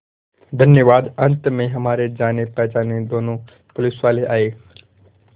धन्यवाद अंत में हमारे जानेपहचाने दोनों पुलिसवाले आए